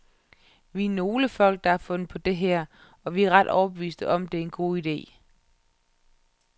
Vi er nogle folk, der har fundet på det her, og vi er ret overbeviste om, at det er en god ide.